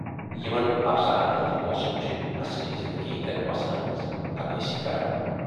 یِمن افسانَن ہٕندۍ موضوٗع چھِ عصری زِندگی ہٕندٮ۪ن مسلن ہٕنز عکٲسی کران۔